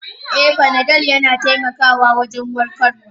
E, fanadol yana taimakawa wajen warkarwa.